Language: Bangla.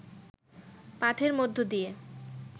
পাঠের মধ্য দিয়ে